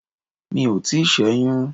Mi ò tíì sẹ́yún.